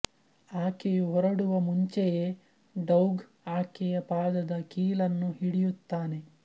ಆಕೆಯು ಹೊರಡುವ ಮುಂಚೆಯೇ ಡೌಗ್ ಆಕೆಯ ಪಾದದ ಕೀಲನ್ನು ಹಿಡಿಯುತ್ತಾನೆ